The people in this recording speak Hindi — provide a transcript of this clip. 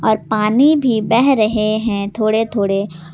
और पानी भी बह रहे हैं थोड़े थोड़े।